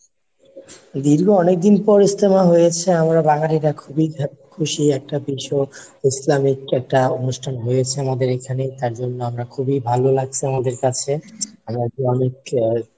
দীর্ঘ অনেকদিন পর ইজতেমা হয়েছে আমরা বাঙালীরা খুবই happy খুশি একটা বিষয় ইসলামিক একটা অনুষ্ঠান হয়েছে আমাদের এখানে তার জন্য আমরা খুবই ভালো লাগছে আমাদের কাছে, অনেক আহ